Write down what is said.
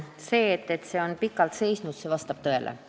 See, et see eelnõu on pikalt seisnud, vastab tõele.